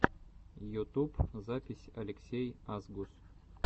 ютуб запись алексей асгус